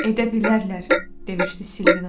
Edə bilərlər, demişdi Silvina.